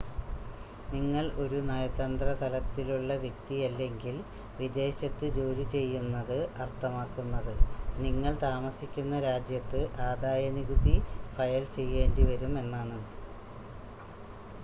നിങ്ങൾ ഒരു നയതന്ത്ര തലത്തിലുള്ള വ്യക്തിയല്ലെങ്കിൽ വിദേശത്ത് ജോലി ചെയ്യുന്നത് അർത്ഥമാക്കുന്നത് നിങ്ങൾ താമസിക്കുന്ന രാജ്യത്ത് ആദായനികുതി ഫയൽ ചെയ്യേണ്ടിവരും എന്നാണ്